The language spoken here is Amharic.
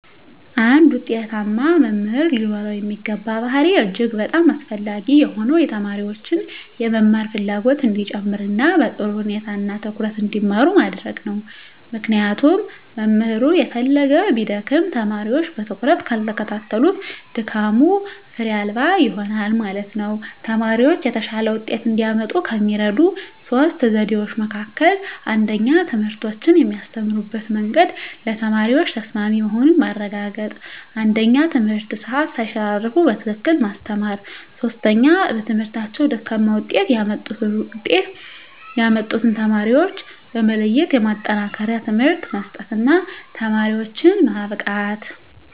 አንድ ውጤታማ መምህር ሊኖረው የሚገባ ባሀሪ እጅግ በጣም አስፈላጊ የሆነው የተማሪዎችን የመማር ፍላጎት እንዲጨመር እና በጥሩ ሁኔታ እና ትኩረት እንዲማሩ ማድረግ ነው ምክንያቱም መምህሩ የፈለገ ቢደክም ተማሪወች በትኩረት ካልተከታተሉት ድካሙ ፋሬ አልባ ይሆናል ማለት ነው። ተማሪወች የተሻለ ወጤት እንዲያመጡ ከሚረዱ 3 ዘዴዎች መካከል 1ኛ ትምህርቶችን የሚያስተምሩበት መንግድ ለተማሪዎች ተሰማሚ መሆኑን ማረጋገጥ 1ኛ የትምህርት ሰአት ሳይሸራረፉ በትክክል ማስተማር 3ኛ በትምህርታቸው ደካማ ውጤት ያመጡትን ውጤት ያመጡትን ተማሪዎች በመለየት የማጠናከሪያ ትምህርት መስጠት እና ተማሪዎችን ማብቃት።